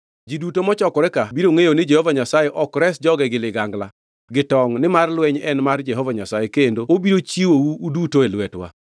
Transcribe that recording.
Ji duto mochokore ka biro ngʼeyo ni Jehova Nyasaye ok res joge gi ligangla gi tongʼ nimar lweny en mar Jehova Nyasaye, kendo obiro chiwou uduto e lwetwa.”